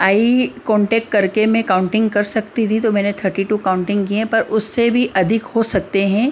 आई contact कर के मैं काउंटिंग कर सकती थी तो मैंने थर्टी टू काउंटिंग की है पर उससे भी अधिक हो सकते हैं ।